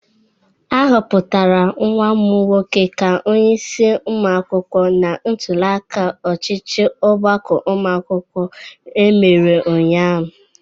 A hụpụtara nwa m nwoke ka onyeisi ụmụ akwụkwọ na ntuliaka ọchịchị ọgbakọ ụmụ akwụkwọ emere ụnyaahụ.